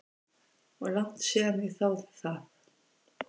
Og langt síðan ég þáði það.